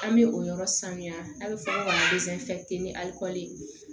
An bɛ o yɔrɔ sanuya a bɛ fɔ